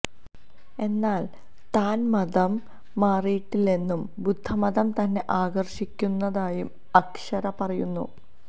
എന്നാല് താന് മതം മാറിയിട്ടില്ലെന്നും ബുദ്ധമതം തന്നെ ആകര്ഷിക്കുന്നതായും അക്ഷര പറയുന്നു